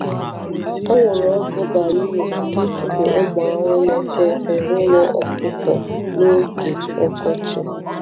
Anwụrụ ọkụ bara uru maka ịchụpụ ụmụ ahụhụ na-efe efe n’ụlọ ọkụkọ n’oge n’oge ọkọchị.